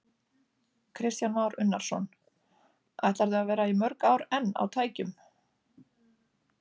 Kristján Már Unnarsson: Ætlarðu að vera í mörg ár enn á tækjum?